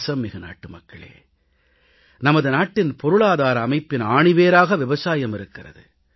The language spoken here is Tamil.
பாசமிகு நாட்டுமக்களே நமது நாட்டின் பொருளாதார அமைப்பின் ஆணிவேராக விவசாயம் இருக்கிறது